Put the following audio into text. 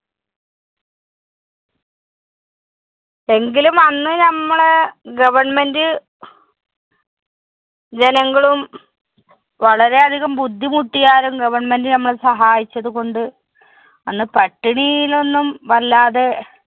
എങ്കിലും അന്ന് ഞമ്മളെ government ജനങ്ങളും വളരെയധികം ബുദ്ധിമുട്ടിയാലും government നമ്മളെ സഹായിച്ചതുകൊണ്ട് അന്ന് പട്ടിണിയിലൊന്നും വല്ലാതെ